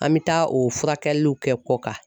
An mi taa o furakɛliw kɛ kɔ kan